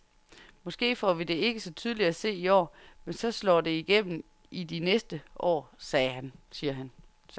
Måske får vi det ikke så tydeligt at se i år, men så slår det igennem i de næste år, siger han.